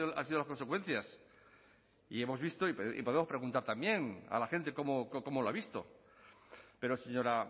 han sido las consecuencias y hemos visto y podemos preguntar también a la gente cómo lo ha visto pero señora